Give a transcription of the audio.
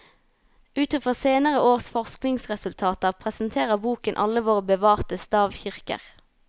Ut i fra senere års forskningsresultater presenterer boken alle våre bevarte stavkirker.